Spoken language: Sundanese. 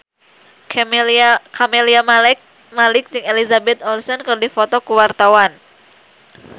Camelia Malik jeung Elizabeth Olsen keur dipoto ku wartawan